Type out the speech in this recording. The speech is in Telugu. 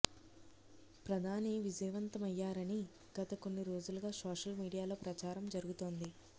ప్రధాని విజయవంతమయ్యారని గత కొన్ని రోజులుగా సోషల్ మీడియాలో ప్రచారం జరుగుతోంది